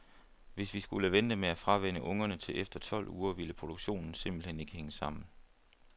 Hvis vi skulle vente med at fravænne ungerne til efter tolv uger, ville produktionen simpelt hen ikke hænge sammen.